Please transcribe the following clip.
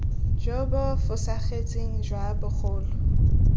jo bo fosagetseng jwa bogolo